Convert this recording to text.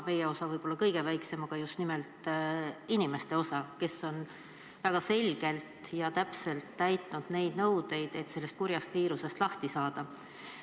Meie osa on võib-olla kõige väiksem, aga oluline on just nimelt inimeste osa, kes on väga selgelt ja täpselt täitnud nõudeid, et sellest kurjast viirusest lahti saada.